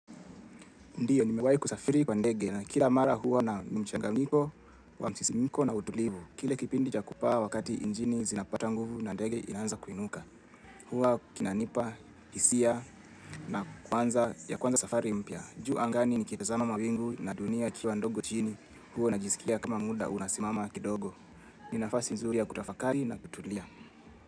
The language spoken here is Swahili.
Ndiyo nimewai kusafiri kwa ndege na kila mara huwa na mchanganyiko wa msisimko na utulivu. Kile kipindi cha kupaa wakati injini zinapata nguvu na ndege inaanza kuinuka Huwa kinanipa, hisia ya kuanza safari mpya. Juu angani nikitazama mwingu na dunia kiwa ndogo chini huwa najisikia kama muda unasimama kidogo ni nafasi nzuri ya kutafakari na kutulia.